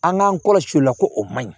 An k'an kɔlɔsi o la ko o man ɲi